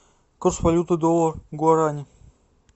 курс валюты доллар гуарани